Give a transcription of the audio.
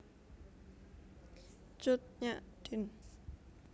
Cut Nyak Dien